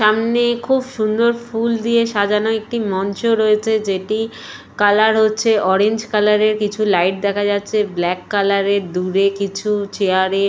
সামনে খুব সুন্দর ফুল দিয়ে সাজানো একটি মঞ্চ রয়েছে যেটি কালার হচ্ছে অরেঞ্জ কালারের কিছু লাইট দেখা যাচ্ছে ব্ল্যাক কালারের দূরে কিছু চেয়ার -এ।